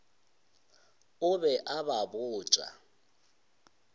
o be a ba botša